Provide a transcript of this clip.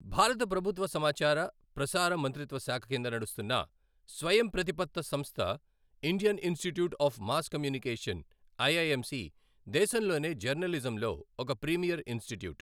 భారత ప్రభుత్వ సమాచార, ప్రసార మంత్రిత్వ శాఖ కింద నడుస్తున్న స్వయం ప్రతిపత్త సంస్థ Indian Institute of Mass Communication IIMC, దేశంలోనే జర్నలిజంలో ఒక ప్రీమియర్ ఇన్స్టిట్యూట్.